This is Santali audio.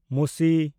ᱢᱩᱥᱤ